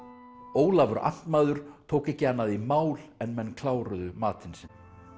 Ólafur amtmaður tók ekki annað í mál en menn kláruðu matinn sinn